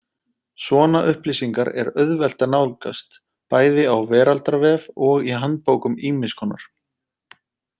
Svona upplýsingar er auðvelt að nálgast, bæði á veraldarvef og í handbókum ýmiss konar.